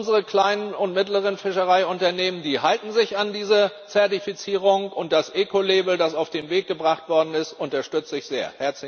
Unsere kleinen und mittleren Fischereiunternehmen halten sich an diese Zertifizierung und das Ecolabel, das auf den Weg gebracht worden ist, unterstütze ich sehr.